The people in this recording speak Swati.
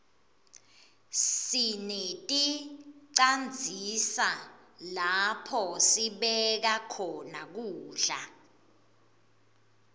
sineticandzisa lapho sibeka khona kudla